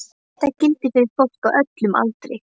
Þetta gildir fyrir fólk á öllum aldri.